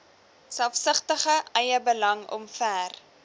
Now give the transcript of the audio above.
selfsugtige eiebelang omver